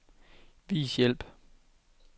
Vis hjælp.